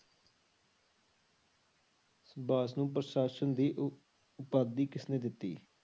ਬੋਸ ਨੂੰ ਪ੍ਰਸ਼ਾਸਨ ਦੀ ਉਪਾਧੀ ਕਿਸਨੇ ਦਿੱਤੀ?